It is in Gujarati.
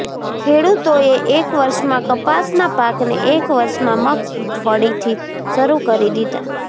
ખેડૂતોએ એક વર્ષમાં કપાસના પાકને એક વર્ષમાં મગફળીથી શરૂ કરી દીધા